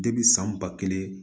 san ba kelen